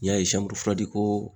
Ni y'a ko